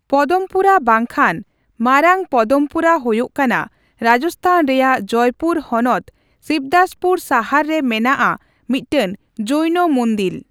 ᱯᱚᱫᱚᱢᱯᱩᱨᱟ ᱵᱟᱝᱠᱷᱟᱱ ᱢᱟᱨᱟᱝ ᱯᱚᱫᱚᱢᱯᱩᱨᱟ ᱦᱳᱭᱳᱜ ᱠᱟᱱᱟ ᱨᱟᱡᱽᱛᱷᱟᱱ ᱨᱮᱭᱟᱜ ᱡᱚᱭᱯᱩᱨ ᱦᱚᱱᱚᱛ ᱥᱤᱵᱫᱟᱥᱯᱩᱨ ᱥᱟᱦᱟᱨ ᱨᱮ ᱢᱮᱱᱟᱜᱼᱟ ᱢᱤᱫᱴᱟᱝ ᱡᱳᱭᱱᱚ ᱢᱩᱫᱤᱞ ᱾